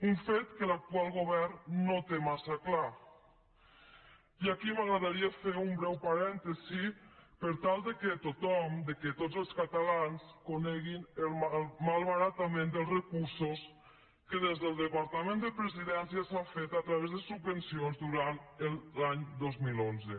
un fet que l’actual govern no té massa clar i aquí m’agradaria fer un breu parèntesi per tal que tothom que tots els catalans coneguin el malbaratament dels recursos que des del departament de presidència s’ha fet a través de subvencions durant l’any dos mil onze